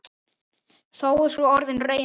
Þó er sú orðin raunin.